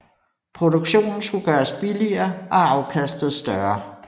Produktionen skulle gøres billigere og afkastet større